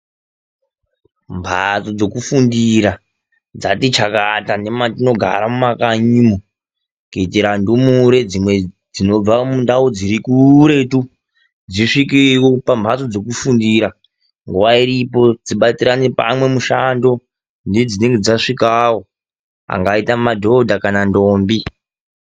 Mhatso dzokufundira dzati chakata nematinogara mumakanyi, kuitira ndumure dzinobva mundau dziri kuretu dzisvikewo pamhatso dzokufundira nguva iripo ,dzibatirane pamwe mishando nedzinenge dzasvikawo ;angaita madhodha kana ndombi .